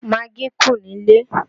Magí kù nílé